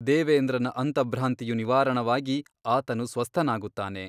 ದೇವೇಂದ್ರನ ಅಂತಭ್ರಾಂತಿಯು ನಿವಾರಣವಾಗಿ ಆತನು ಸ್ವಸ್ಥನಾಗುತ್ತಾನೆ.